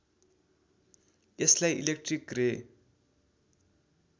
यसलाई इलेक्ट्रिक रे